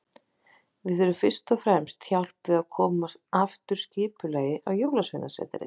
Við þurfum fyrst og fremst hjálp við að koma aftur skipulagi á Jólasveinasetrið.